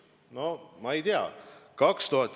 No ma ei tea ...